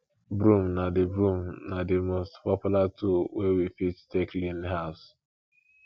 broom na di broom na di most popular tool wey we fit take clean house